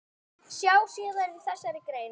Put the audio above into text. Sjá síðar í þessari grein.